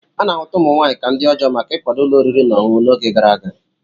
A na-ahụta ụmụ nwaanyị ka ndi ọjọọ maka ịkwado ụlọ oriri na ọṅụṅụ n'oge gara aga.